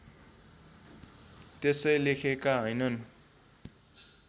त्यसै लेखेका हैनन्